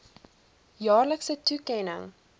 jaarlikse toekenning